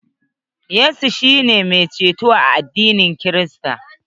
Yesu kristi shi ne mai ceto a addinin krista.